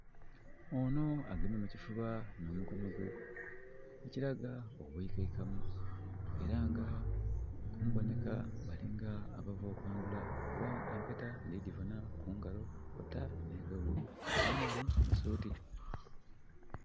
Onho agemye mukifuba nh'omukono gwe, ekiraga obwikaikamu era nga mumboneka bali nga abava okwandhula. Kuba empeta ndhi gibona ku ngalo, kwota nhi gown, nh'omwami mu suuti.